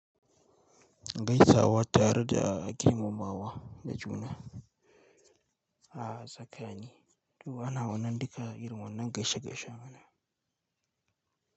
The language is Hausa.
Gaisawa tare da girmamawa da juna a tsakani. To ana wannan duka irin wannan gashe gashen mana.